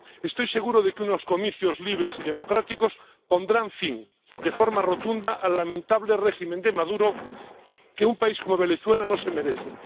Estoy seguro de que unos comicios libres y democráticos pondrán fin de forma rotunda al lamentable régimen de Maduro, que un país como Venezuela no se merece.